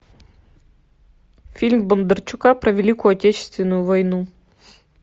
фильм бондарчука про великую отечественную войну